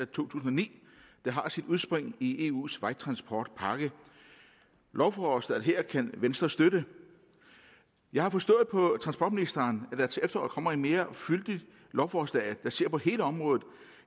tusind og ni der har sit udspring i eus vejtransportpakke lovforslaget her kan venstre støtte jeg har forstået på transportministeren at der til efteråret kommer et mere fyldigt lovforslag man ser på hele området